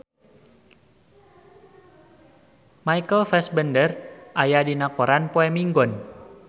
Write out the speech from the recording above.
Michael Fassbender aya dina koran poe Minggon